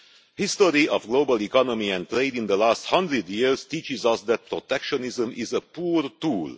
The history of the global economy and trade in the last hundred years teaches us that protectionism is a poor tool.